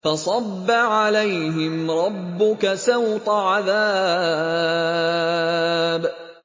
فَصَبَّ عَلَيْهِمْ رَبُّكَ سَوْطَ عَذَابٍ